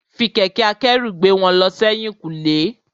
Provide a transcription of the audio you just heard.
Fi kẹ̀kẹ́ akẹ́rù gbé wọn lọ sẹ́yìn kùlé.